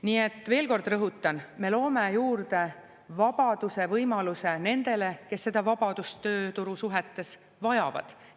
Nii et veel kord rõhutan, me loome juurde vabaduse võimaluse nendele, kes seda vabadust tööturusuhetes vajavad.